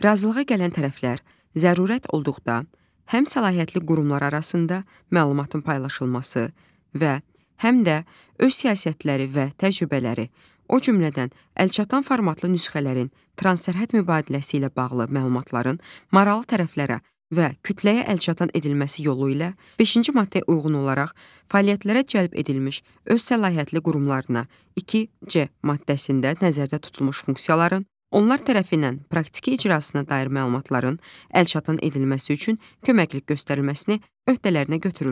Razılığa gələn tərəflər zərurət olduqda həm səlahiyyətli qurumlar arasında məlumatın paylaşılması və həm də öz siyasətləri və təcrübələri, o cümlədən əlçatan formatlı nüsxələrin transsərhəd mübadiləsi ilə bağlı məlumatların, maraqlı tərəflərə və kütləyə əlçatan edilməsi yolu ilə beşinci maddəyə uyğun olaraq fəaliyyətlərə cəlb edilmiş öz səlahiyyətli qurumlarına, 2C maddəsində nəzərdə tutulmuş funksiyaların, onlar tərəfindən praktiki icrasına dair məlumatların əlçatan edilməsi üçün köməklik göstərilməsini öhdələrinə götürürlər.